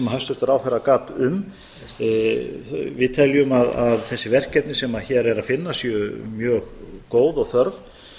hæstvirtur ráðherra gat um við teljum að þessi verkefni sem hér er að finna séu mjög góð og þörf